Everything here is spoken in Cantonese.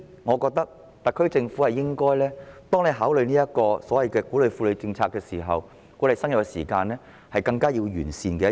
我認為，特區政府在考慮鼓勵婦女生育的政策時，這是更有需要完善地方。